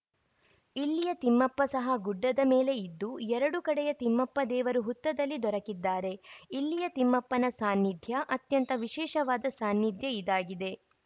ಇಲ್ಲಿಯ ತಿಮ್ಮಪ್ಪ ಸಹ ಗುಡ್ಡದ ಮೇಲೆ ಇದ್ದು ಎರಡು ಕಡೆಯ ತಿಮ್ಮಪ್ಪ ದೇವರು ಹುತ್ತದಲ್ಲಿ ದೊರಕಿದ್ದಾರೆ ಇಲ್ಲಿಯ ತಿಮ್ಮಪ್ಪನ ಸಾನ್ನಿಧ್ಯ ಅತ್ಯಂತ ವಿಶೇಷವಾದ ಸಾನ್ನಿಧ್ಯ ಇದಾಗಿದೆ